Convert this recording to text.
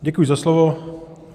Děkuji za slovo.